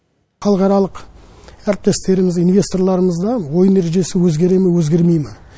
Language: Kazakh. халықаралық әріптестеріміз инвесторларымызға ойын ережесі өзгере ме өзгермей ме